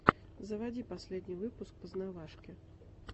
заводи последний выпуск познавашки